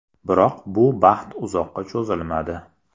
Biroq bu baxt uzoqqa cho‘zilmadi.